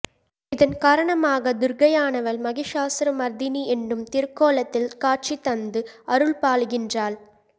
இதன்காரணமாகத் துர்க்கையானவள் மகிஷாசுரமர்த்தினி என்னும் திருக்கோலத்தில் காட்சி தந்து அருள்பாலிக்கின்றாள்